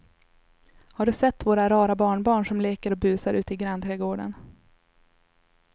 Har du sett våra rara barnbarn som leker och busar ute i grannträdgården!